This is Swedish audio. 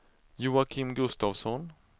Joakim Gustavsson